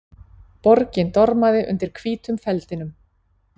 Borgin dormaði undir hvítum feldinum.